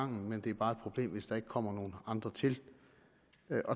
men det er bare et problem hvis der ikke kommer nogle andre til